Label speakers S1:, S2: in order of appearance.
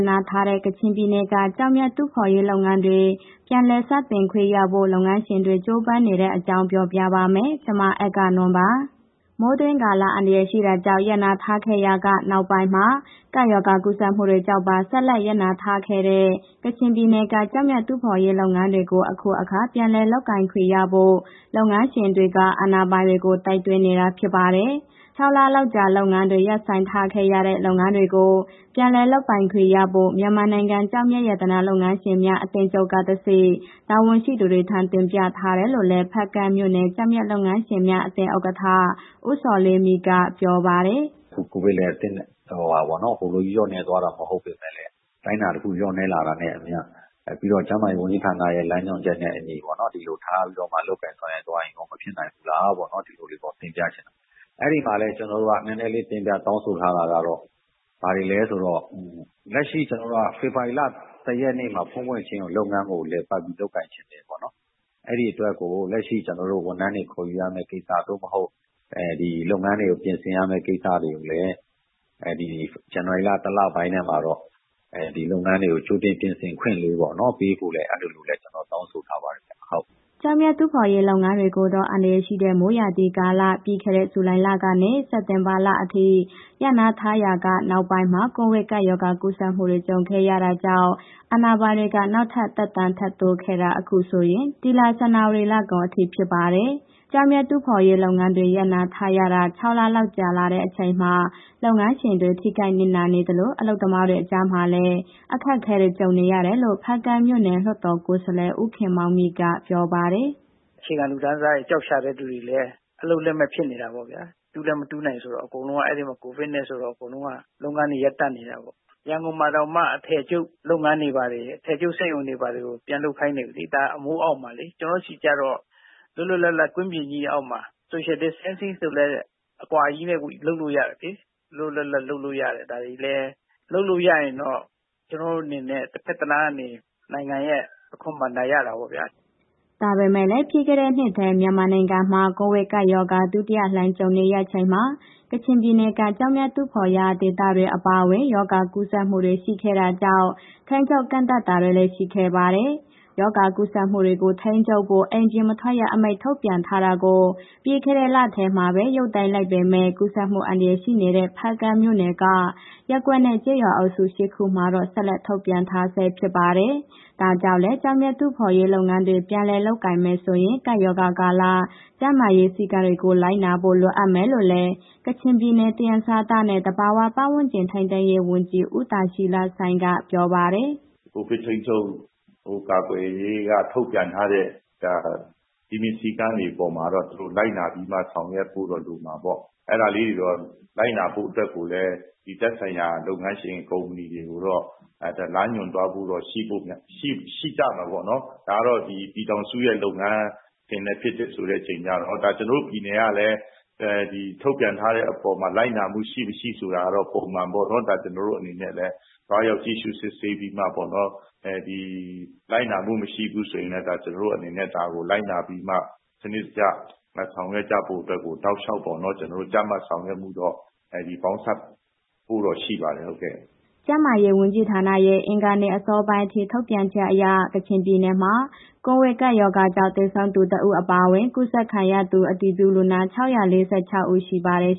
S1: နားထားတဲ့ ကချင်ပြည်နယ်က ကျောက်မျက်တူးဖော်ရေးလုပ်ငန်းတွေ ပြန်လည်စတင်ခွင့်ရဖို့ လုပ်ငန်းရှင်တွေ ကြိုးပမ်းနေတဲ့အကြောင်း ပြောပြပါမယ်။ ဗွီအိုအေမြန်မာပိုင်း သတင်းထောက် မအဂ္ဂနွန်က သတင်းပေးပို့ထားပါတယ်။ မိုးတွင်းကာလ အန္တရာယ်ရှိတာကြောင့် ရပ်နားထားခဲ့ရာက နောက်ပိုင်းမှာ ကပ်ရောဂါကူးစက်မှုတွေကြောင့်ပါ ဆက်လက် ရပ်နားထားတဲ့ ကချင်ပြည်နယ်က ကျောက်မျက်တူးဖော်ရေး လုပ်ငန်းတွေကို အခုအခါ ပြန်လည်လုပ်ခွင့်ရဖို့ လုပ်ငန်းရှင်တွေက အာဏာပိုင်တွေကို တိုက်တွန်းနေတာ ဖြစ်ပါတယ်။ ၆ လလောက်ကြာ လုပ်ငန်းတွေ ရပ်ဆိုင်းထားခဲ့ရတဲ့ လုပ်ငန်းတွေကို ပြန်လည်လုပ်ပိုင်ခွင့်ရဖို့ မြန်မာနိုင်ငံ ကျောက်မျက် ရတနာလုပ်ငန်းရှင်များ အသင်းချုပ်ကတဆင့် တာဝန်ရှိသူတွေထံ တင်ပြထားတယ်လို့လည်း ဖားကန့်မြို့နယ် ကျောက်မျက်လုပ်ငန်းရှင်များ အသင်း ဥက္ကဋ္ဌ ဦးဇော်လေးမြင့်က ပြောပါတယ်
S2: ။ “အခုကိုဗစ်လည်း ဟိုလိုကြီး လျော့နည်းတာမျိုး မဟုတ်ပေမဲ့လည်း အတိုင်းအတာတစ်ခုလျော့နည်းလာတာနဲ့အမျှ ပြီးတော့ ကျန်းမာရေးဝန်ကြီးဌာနရဲ့ လမ်းညွှန်ချက်နဲ့ အညီပေါ့နော် ဒီလိုထားပြီးတော့ လုပ်ကိုင်ဆောင်ရွက်သွားရင်ရော မဖြစ်နိုင်ဘူးလားပေါ့နော်... ဒီလိုလေးပေါ့တင်ပြချင်တာ၊ အဲ့ဒီမှာလည်း ကျနော်တို့က နည်းနည်းလေး တင်ပြတောင်းဆိုထားတာကတော့ ဘာတွေလဲဆိုတော့ လက်ရှိ ဖေဖော်ဝါရီလ ၁ ရက်နေ့မှာ ဖွင့်ဖွင့်ချင်းကို လုပ်ငန်းကို လည်ပတ်ပြီး လုပ်ငန်းချင်တယ်ပေါ့နော်။ ဒီအတွက်ကို လက်ရှိ ကျနော်တို့ ဝန်ထမ်းတွေ ခေါ်ယူရမယ့် ကိစ္စ သို့မဟုတ် လုပ်ငန်းတွေပြင်ဆင်ရမယ့်ကိစ္စတွေကိုလည်း ဇန်နဝါရီလ တစ်လပိုင်းထဲမှာတော့ လုပ်ငန်းတွေကို ကြိုတင်ပြင်ဆင်ခွင့်လေးပေ့ါနော်... ပေးဖို့ အဲ့ဒီလိုလည်း ကျနော်တောင်းဆိုထားပါတယ်။”
S1: ကျောက်မျက်တူးဖော်ရေး လုပ်ငန်းတွေကိုတော့ အန္တရာယ်ရှိတဲ့ မိုးရာသီကာလ ပြီးခဲ့တဲ့ ဇူလိုင်လကနေ စက်တင်ဘာလအထိ ရပ်နားထားရာက နောက်ပိုင်းမှာ ကိုဗစ်ရောဂါကူးစက်မှုတွေ ကြုံခဲ့ရတာကြောင့် အာဏာပိုင်တွေက နောက်ထပ် သက်တမ်းတိုးလာခဲ့တာ အခုဆိုရင် ဒီလ ဇန်နဝါရီလကုန်အထိ ဖြစ်ပါတယ်။ ကျောက်မျက်တူးဖော်ရေးလုပ်ငန်းတွေ ရပ်နားထားရတာ ၆ လလောက် ကြာလာတဲ့အချိန်မှာ လုပ်ငန်းရှင်တွေ ထိခိုက်နစ်နာနေသလို အလုပ်သမားတွေကြားမှာလည်း အခက်အခဲတွေ ကြုံနေရတယ်လို့ ဖားကန့်မြို့နယ် လွှတ်တော်ကိုယ်စားလှယ် ဦးခင်မောင်မြင့်က ပြောပါ
S3: တယ်။ “အခြေခံလူတန်းစားတွေ ကျောက်ရှာတဲ့ သူတွေလည်း အလုပ်လက်မဲ့ဖြစ်နေတာပေါ့ဗျာ။ တူးလည်း မတူးနိုင်ဆိုတော့ အကုန်လုံးအဲ့ဒီမှာ ကိုဗစ်နဲ့ ဆိုတော့ အကုန်လုံးက လုပ်ငန်းတွေ ရပ်တန့်နေတာပေါ့။ ရန်ကုန်မှာတောင်မှ အထည်ချုပ်လုပ်ငန်းတွေဘာတွေ အထည်စက်ရုံတွေ၊ ဘာတွေပြန်လုပ်ခိုင်းတာလေ... အမိုးအောက်မှာလေ။ ကျနော်တို့ဆီကျတော့ လွတ်လွတ်လပ်လပ် ကွင်းပြင်ကြီးအောက်မှာ social distancing ဆိုလည်း အကွာကြီးနဲ့ လုပ်လို့ရတယ်လေ။ လွတ်လွတ်လပ်လပ်လုပ်လို့ရတယ်။ ဒါတွေလည်း လုပ်လို့ရရင်တော့ ကျနော်အနေနဲ့ တစ်ဘက်တစ်လမ်းကနေ နိုင်ငံရဲ့ အခွန်ဘဏ္ဍာရတာပေါ့ဗျာ။
S1: ” ဒါပေမဲ့လည်း ပြီးခဲ့တဲ့နှစ်ထဲ မြန်မာနိုင်ငံမှာ ကိုဗစ်ကပ်ရောဂါ ဒုတိယလှိုင်းကြုံရချိန်မှာ ကချင်ပြည်နယ်က ကျောက်မျက်တူးဖော်ရာ ဒေသတွေ အပါအဝင် ရောဂါကူးစက်မှုတွေ ရှိခဲ့တာကြောင့် ထိန်းချုပ်ကန့်သတ်တာတွေလည်း ရှိခဲ့ပါတယ်။ ရောဂါကူးစက်မှုတွေကို ထိန်းချုပ်ဖို့ အိမ်ပြင်မထွက်ရ အမိန့်ထုတ်ပြန်ထားတာကို ပြီးခဲ့တဲ့လထဲမှာပဲ ရုပ်သိမ်းလိုက်ပေမဲ့ ကူးစက်မှု အန္တရာယ်ရှိနေတဲ့ ဖားကန့်မြို့နယ်က ရပ်ကွက်နဲ့ ကျေးရွာအုပ်စု ၈ ခုမှာတော့ ဆက်လက် ထုတ်ပြန်ထားဆဲ ဖြစ်ပါတယ်။ ဒါကြောင့်လည်း ကျောက်မျက် တူးဖော်ရေးလုပ်ငန်းတွေ ပြန်လည်လုပ်ကိုင်မယ်ဆိုရင် ကပ်ရောဂါကာလ ကျန်းမာရေးစည်းကမ်းတွေကို လိုနာဖို့ လိုအပ်မယ်လို့လည်း ကချင်ပြည်နယ်၊ သယံဇာတနဲ့ သဘာဝပတ်ဝန်းကျင် ထိန်းသိမ်းရေးဝန်ကြီး ဦးဒါရှီလဆိုင်းက ပြောပါတယ်။
S4: “ကိုဗစ်ထိန်းချုပ်ကာကွယ်ရေးက ထုတ်ပြန်ထားတဲ့ စည်းမျဉ်းစည်းကမ်းတွေ အပေါ်မှာတော့ သူတို့လိုက်နာပြီးမှ ဆောင်ရွက်ဖို့တော့ လိုမှာပေါ့။ အဲ့ဒါလေးကို လိုက်နာဖို့အတွက်ကိုလည်း ဒီသက်ဆိုင်ရာလုပ်ငန်းရှင် ကုမ္ပဏီတွေကိုတော့ လမ်းညွှန်သွားဖို့တော့ရှိဖို့များမယ် ရှိကြမှာပေါ့နော်။ ဒါတော့ ပြည်ထောင်စုရဲ့ လုပ်ငန်းအခြေအနေဖြစ်တဲ့အခါကျတော့ ကျနော်တို့ပြည်နယ်ကလည်း ဒီထုတ်ပြန်အပေါ်မှာ လိုက်နာမှုရှိ၊ မရှိဆိုတာကိုတော့ ပုံမှန်ပေါ့နော်... ကျနော်တို့အနေနဲ့လည်း သွားရောက်ကြည့်ရှုစစ်ဆေးပြီးမှပေါ့နော်... လိုက်နာမှုမရှိဘူးဆိုရင်လည်း ကျနော်အနေနဲ့ ဒါကို လိုက်နာပြီးမှ စနစ်တကျ ဆောင်ရွက်ကြဖို့အတွက်ကို တောက်လျှောက်ပေါ့နော်.. ကြပ်မတ်ဆောင်ရွက်မှုတော့ ပေါင်းစပ်ဖို့တော့ ရှိပါတယ်။”
S1: ကျန်းမာရေးနဲ့ အားကစားဝန်ကြီးဌာနရဲ့ အင်္ဂါနေ့ အစောပိုင်းအထိ ထုတ်ပြန်ချက်အရ ကချင်ပြည်နယ်မှာ ကိုဗစ်ကပ်ရောဂါကြောင့် သေဆုံးသူ ၁ ဦး အပါအဝင် ရောဂါကူးစက်သူ အတည်ပြုလူနာ ၆၄၆ ဦး ရှိပါတယ်